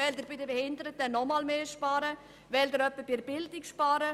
Oder bei den Behinderten oder bei der Bildung?